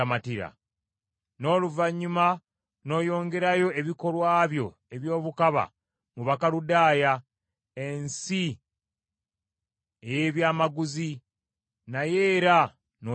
N’oluvannyuma n’oyongerayo ebikolwa byo eby’obukaba mu Bakaludaaya, ensi ey’ebyamaguzi, naye era n’otamalibwa.